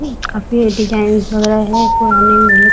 काफ़ी डिजाईन वगेरह है पुराने --